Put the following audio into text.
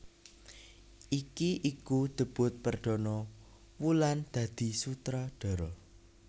Iki iku debut perdana Wulan dadi sutradara